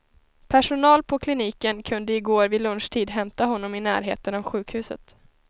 Personal på kliniken kunde i går vid lunchtid hämta honom i närheten av sjukhuset.